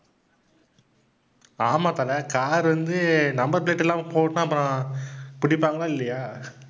ஆமாம் தல car வந்து number plate இல்லாம போனா அப்புறம் பிடிப்பாங்களா இல்லயா